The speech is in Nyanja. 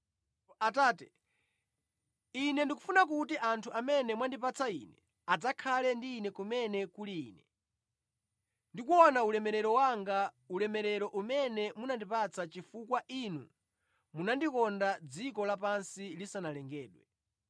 “Atate, Ine ndikufuna kuti anthu amene mwandipatsa Ine adzakhale ndi Ine kumene kuli Ine, ndi kuona ulemerero wanga, ulemerero umene munandipatsa chifukwa Inu munandikonda dziko lapansi lisanalengedwe.